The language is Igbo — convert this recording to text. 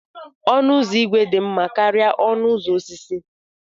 Ọnụ ụzọ ígwè dị mma karịa ọnụ ụzọ osisi.